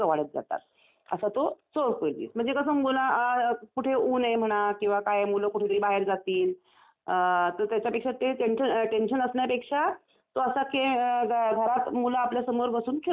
असा तो चोर पोलीस म्हणजे कसं मुला कुठे ऊन आहे म्हणा किंवा काय आहे मुलं कुठेतरी बाहेर जातील तर त्याच्यापेक्षा ते टेंशन असण्यापेक्षा तो असा खेळ, घरात मुलं आपल्यासमोर बसून खेळू शकतात.